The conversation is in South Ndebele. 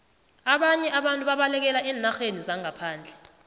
ababnye abantu babalekela eenarheni zangaphandle